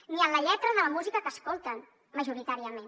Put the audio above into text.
ni en la lletra de la música que escolten majoritàriament